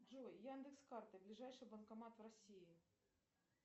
джой яндекс карты ближайший банкомат в россии